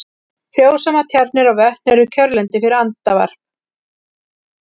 Frjósamar tjarnir og vötn eru kjörlendi fyrir andavarp.